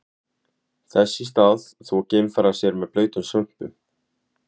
Þess í stað þvo geimfarar sér með blautum svömpum.